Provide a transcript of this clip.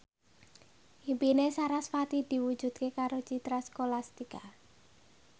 impine sarasvati diwujudke karo Citra Scholastika